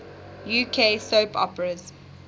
uk soap operas